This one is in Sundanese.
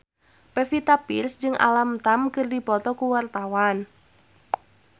Pevita Pearce jeung Alam Tam keur dipoto ku wartawan